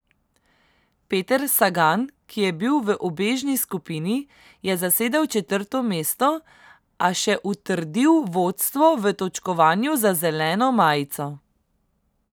Peter Sagan, ki je bil v ubežni skupini, je zasedel četrto mesto, a še utrdil vodstvo v točkovanju za zeleno majico.